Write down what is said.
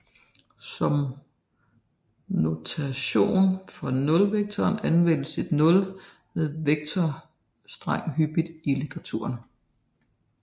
Som notation for nulvektoren anvendes et nul med vektorstreg hyppigt i litteraturen